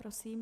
Prosím.